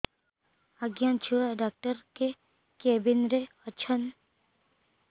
ଆଜ୍ଞା ଛୁଆ ଡାକ୍ତର କେ କେବିନ୍ ରେ ଅଛନ୍